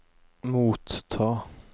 motta